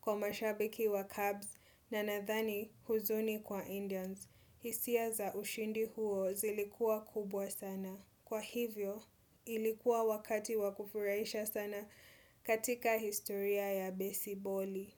kwa mashabiki wa Cubs na nathani huzuni kwa Indians. Hisia za ushindi huo zilikuwa kubwa sana. Kwa hivyo, ilikuwa wakati wakufurahisha sana katika historia ya besiboli.